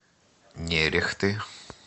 нерехты